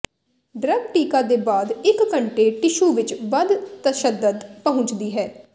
drug ਟੀਕਾ ਦੇ ਬਾਅਦ ਇੱਕ ਘੰਟੇ ਟਿਸ਼ੂ ਵਿਚ ਵੱਧ ਤਸ਼ੱਦਦ ਪਹੁੰਚਦੀ ਹੈ